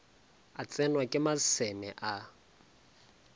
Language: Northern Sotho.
a tsenwa ke maseme a